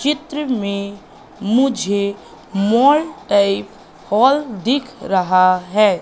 चित्र में मुझे मॉल टाइप हॉल दिख रहा है।